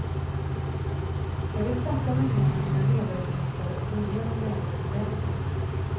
Jag vill sätta mig ner med mina medarbetare och gå igenom läget ordentligt.